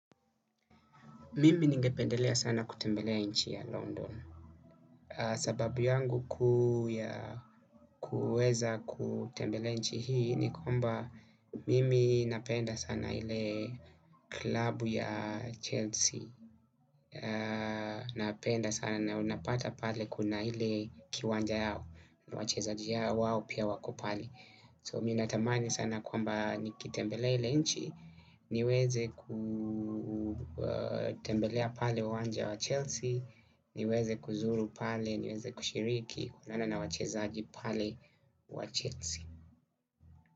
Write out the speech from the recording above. Mimi ningependelea sana kutembelea nchi ya London. Sababu yangu kuu ya kuweza kutembelea nchi hii ni kwamba mimi napenda sana ile klabu ya Chelsea. Napenda sana na unapata pale kuna ile kiwanja yao. Wachezaji wao pia wako pale So mimi natamani sana kwamba nikitembelee ile nchi niweze kutembelea pale uwanja wa Chelsea niweze kuzuru pale niweze kushiriki kulala na wachezaji pale wa Chelsea.